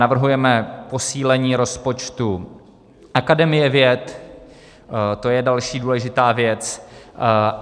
Navrhujeme posílení rozpočtu Akademie věd, to je další důležitá věc.